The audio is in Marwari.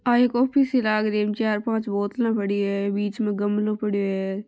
आ एक ऑफिस ही लाग रही है इमें चार पांच बोतला पड़ी है बीच में गमलो पड़यो है।